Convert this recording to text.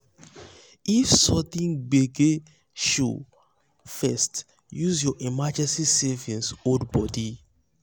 if sudden gbege show first use your emergency savings hold body.